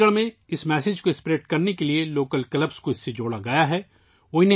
چنڈی گڑھ میں اس پیغام کو پھیلانے کے لیے مقامی کلبوں کو اس سے جوڑا گیا ہے